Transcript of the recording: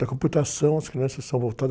Da computação, as crianças são voltadas